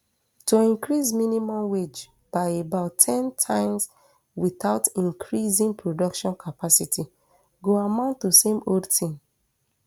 to increase minimum wage by about ten times witout increasing production capacity go amount to same old tin